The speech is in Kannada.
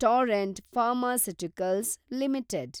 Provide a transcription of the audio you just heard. Torrent pharmaceuticals limited